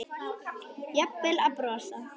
Jafnvel að brosa.